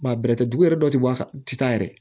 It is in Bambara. dugu yɛrɛ dɔw tɛ bɔ a tɛ taa yɛrɛ